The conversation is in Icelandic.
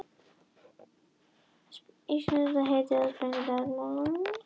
Íslenska heitið, sprengidagur, er þekkt frá átjándu öld.